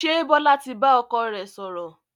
Ṣé Bọlá tí bá ọkọ rẹ sọ̀rọ̀?